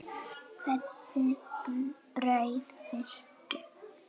Hvernig brauð viltu?